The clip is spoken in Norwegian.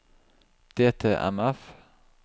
DTMF